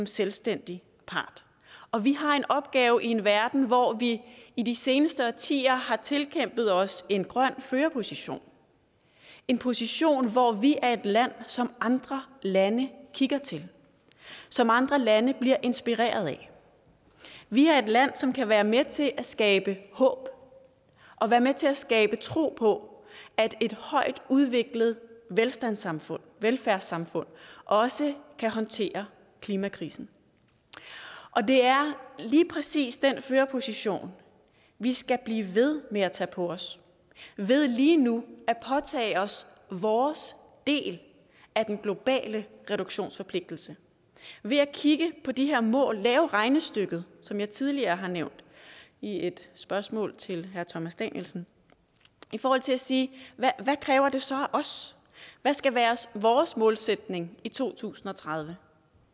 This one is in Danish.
selvstændig part og vi har en opgave i en verden hvor vi i de seneste årtier har tilkæmpet os en grøn førerposition en position hvor vi er et land som andre lande kigger til som andre lande bliver inspireret af vi er et land som kan være med til at skabe håb og være med til at skabe tro på at et højt udviklet velfærdssamfund velfærdssamfund også kan håndtere klimakrisen og det er lige præcis den førerposition vi skal blive ved med at tage på os ved lige nu at påtage os vores del af den globale reduktionsforpligtelse ved at kigge på de her mål lave regnestykket som jeg tidligere har nævnt i et spørgsmål til herre thomas danielsen i forhold til at sige hvad kræver det så af os hvad skal være vores målsætning i 2030